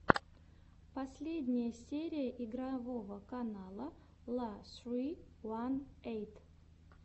последняя серия игрового канала ла ссри ван эйт